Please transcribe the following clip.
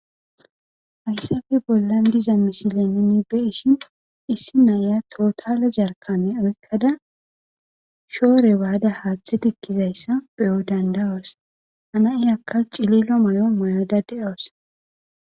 Hayissappe bollanni diza missile nuni be'ishshin issi na'iya totale jarikane oyikkada shore Bada haththe tikizayiss be'os danida'oss.haa na'ayikka cililo mayo mayada de'awus.